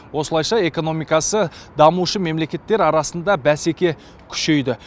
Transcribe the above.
осылайша экономикасы дамушы мемлекеттер арасында бәсеке күшейді